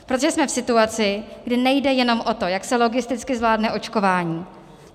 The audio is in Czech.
Protože jsme v situaci, kdy nejde jenom o to, jak se logisticky zvládne očkování.